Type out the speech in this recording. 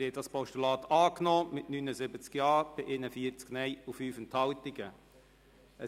Sie haben das Postulat mit 79 Ja- bei 41 Nein-Stimmen und 5 Enthaltungen angenommen.